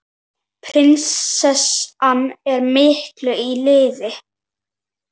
Pressan er mikil á liðið.